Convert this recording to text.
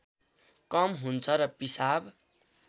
कम हुन्छ र पिसाब